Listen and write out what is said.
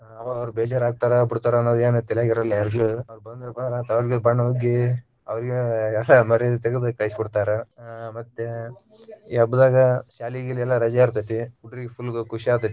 ಅವಾಗ ಅವ್ರು ಬೇಜಾರ ಆಗ್ತಾರ ಬಿಡ್ತಾರ ಅನ್ನದ ಏನು ತಲ್ಯಾಗ ಇರುಲ್ಲಾ ಯಾರಿಗೂ ಅವ್ರ ಬಂದ್ರಪಾ ಅಂದ್ರ ಬಣ್ಣ ಉಗ್ಗಿ ಅವ್ರಿಗಿ ಮರ್ಯಾದಿ ತಗದ ಕಳಿಸಿ ಬಿಡ್ತಾರ ಅಹ್ ಮತ್ತೆ ಈ ಹಬ್ಬದಾಗ ಶಾಲಿ ಗಿಲಿ ಎಲ್ಲಾ ರಜಾ ಇರತೇತಿ ಹುಡ್ರಿಗ full ಖುಷಿ ಆಗತೈತಿ.